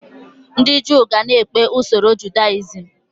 Ndị Jew ga-na ekpe usoro Judaism